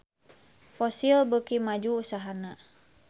Fossil beuki maju usahana